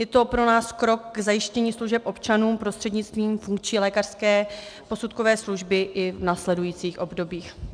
Je to pro nás krok k zajištění služeb občanům prostřednictvím funkční lékařské posudkové služby i v následujících obdobích.